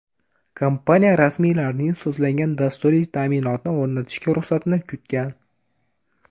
Kompaniya rasmiylarning sozlangan dasturiy ta’minotni o‘rnatishga ruxsatini kutgan.